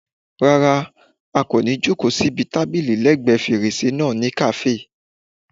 Rárá, a kò ní jòkó síbi tábìlì lẹ́ẹ̀gbẹ́ fèrèsé náà ní kàáfè